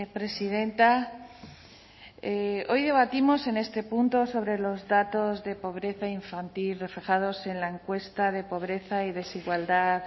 presidenta hoy debatimos en este punto sobre los datos de pobreza infantil reflejados en la encuesta de pobreza y desigualdad